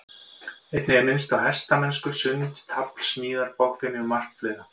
Einnig er minnst á hestamennsku, sund, tafl, smíðar, bogfimi og margt fleira.